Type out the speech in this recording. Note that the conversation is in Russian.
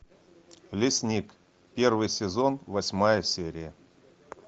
лесник первый сезон восьмая серия